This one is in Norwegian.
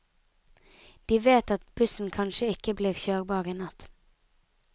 De vet at bussen kanskje ikke blir kjørbar i natt.